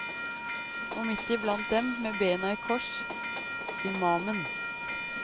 Og midt iblant dem, med bena i kors, imamen.